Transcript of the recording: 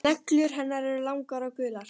Neglur hennar eru langar og gular.